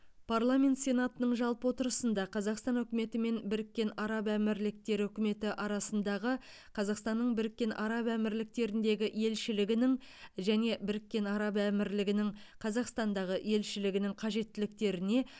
парламент сенатының жалпы отырысында қазақстан үкіметі мен біріккен араб әмірліктері үкіметі арасындағы қазақстанның біріккен араб әмірліктеріндегі елшілігінің және біріккен араб әмірлігінің қазақстандағы елшілігінің қажеттіліктеріне